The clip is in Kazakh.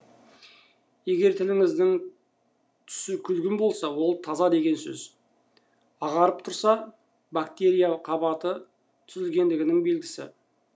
егер тіліңіздің түсі күлгін болса ол таза деген сөз ағарып тұрса бактерия қабаты түзілгендігінің белгісі